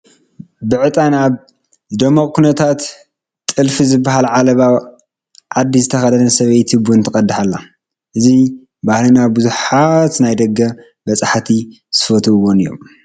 ብዕጣን ኣብ ዝደመቐ ኩነታት ጥልፊ ዝበሃል ዓለባ ዓዲ ዝተኸደነት ሰበይቲ ቡን ትቐድሕ ኣላ፡፡ እዚ ባህልና ብዙሓት ናይ ደገ በፃሕቲ ዝፈትውዎ እዮም፡፡